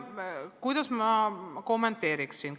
Kuidas ma kommenteeriksin?